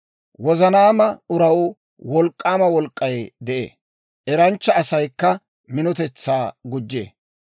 Wozanaama uraw wolk'k'aama wolk'k'ay de'ee; eranchcha asaykka minotetsaa gujjee.